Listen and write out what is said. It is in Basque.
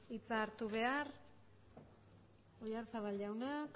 hitza hartu behar oyarzabal jauna